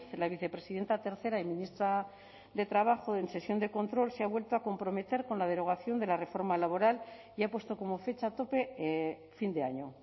la vicepresidenta tercera y ministra de trabajo en sesión de control se ha vuelto a comprometer con la derogación de la reforma laboral y ha puesto como fecha tope fin de año